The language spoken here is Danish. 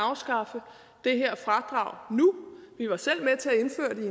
afskaffe det her fradrag nu vi var selv med til at indføre det